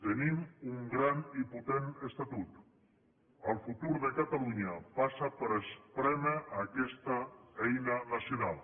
tenim un gran i potent estatut el futur de catalunya passa per esprémer aquesta eina nacional